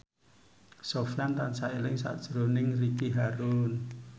Sofyan tansah eling sakjroning Ricky Harun